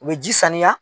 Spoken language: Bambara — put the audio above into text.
U bɛ ji saniya